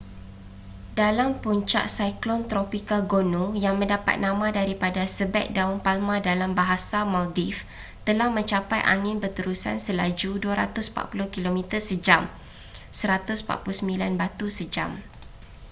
dalam puncak siklon tropika gonu yang mendapat nama daripada sebeg daun palma dalam bahasa maldives telah mencapai angin berterusan selaju 240 kilometer sejam 149 batu sejam